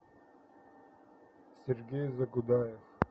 сергей загудаев